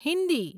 Hindi